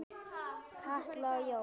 Katla og Jón.